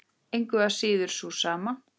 Engu að síður sú sama.